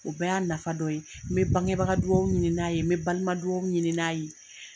O bɛɛ y'a nafa dɔ ye n bɛ bangebaga dugawu ɲini n'a ye n bɛ balima dugawu ɲini n'a ye.